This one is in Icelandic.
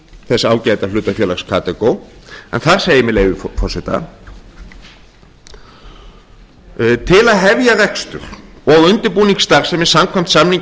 þess ágæta hlutafélags katagó en þar segir með leyfi forseta til að hefja rekstur og undirbúning starfsemi samkvæmt samningi